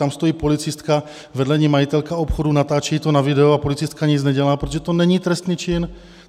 Tam stojí policistka, vedle ní majitelka obchodu, natáčí to na video a policistka nic nedělá, protože to není trestný čin.